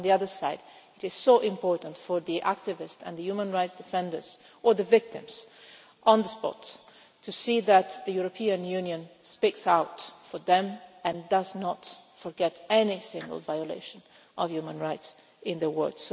But on the other hand, it is so important for the activists and the human rights defenders or the victims on the spot to see that the European Union speaks out for them and does not forget any single violation of human rights in the world.